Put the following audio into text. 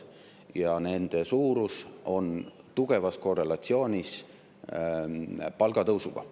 Ja nende suurus on tugevas korrelatsioonis palgatõusuga.